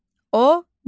Odun.